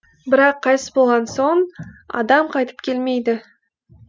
бірақ қайтыс болған соң адам қайтып келмейді